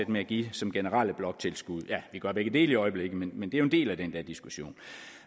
med at give det som generelt bloktilskud ja vi gør begge dele i øjeblikket men det er jo en del af den der diskussion